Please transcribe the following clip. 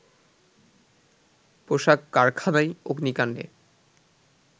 পোশাক কারখানায় অগ্নিকান্ডে